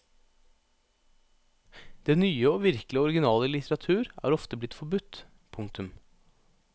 Det nye og virkelig originale i litteratur er ofte blitt forbudt. punktum